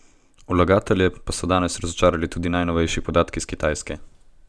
Vlagatelje pa so danes razočarali tudi najnovejši podatki s Kitajske.